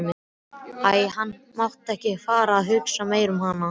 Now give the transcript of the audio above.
Æi, hann mátti ekki fara að hugsa meira um hana.